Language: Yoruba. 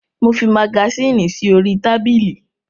Mo fi magasínì sí orí tábìlì.